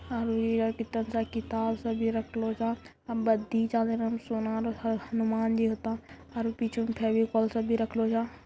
और ये तानी सा किताब सब भी रखलो जा सोना ह हनुमान जी होता | और पीछे फेवीकोल सब भी रखलो जा |